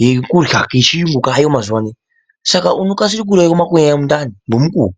yekurya kechiyungu kaayo mazuwa ano, saka unokasira kuuraya makonye emundani ngemukuwo.